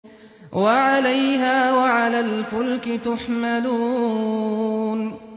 وَعَلَيْهَا وَعَلَى الْفُلْكِ تُحْمَلُونَ